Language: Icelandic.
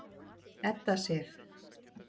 Edda Sif.